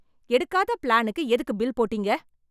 எடுக்காத பிளானுக்கு எதுக்கு பில் போட்டீங்க?